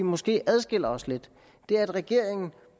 måske adskiller os lidt er at regeringen